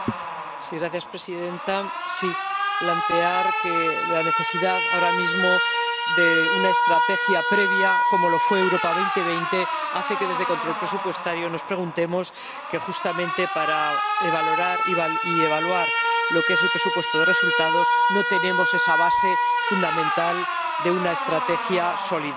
Señora presidenta, quisiera plantear que la necesidad, ahora mismo, de una estrategia previa como lo fue Europa 2020 hace que desde la Comisión de Control Presupuestario nos preguntemos que justamente para valorar y evaluar el presupuesto de resultados no tenemos esa base fundamental de una estrategia sólida.